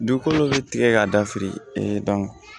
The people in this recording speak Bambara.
Dugukolo dɔ bɛ tigɛ ka dafili